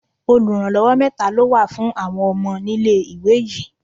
Oluranlowo mẹ́ta ló wà fún àwọn ọmọ nílé-ìwé yìí.